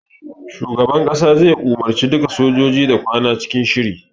Shugaban kasa zai umarce duka sojoji da kwana cikin shiri.